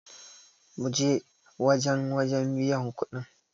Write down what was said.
mu je wajen wajen biyan kuɗin!